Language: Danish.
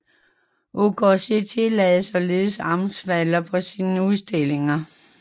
UKC tillader således amstaffer på sine udstillinger